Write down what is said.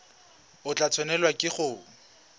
o tla tshwanelwa ke go